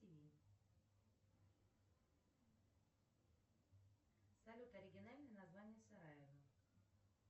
салют оригинальное название сараево